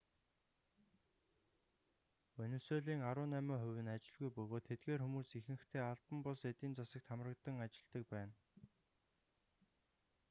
венисуелийн арван найман хувь нь ажилгүй бөгөөд тэдгээр хүмүүс ихэнхдээ албан бус эдийн засагт хамрагдан ажиллдаг байна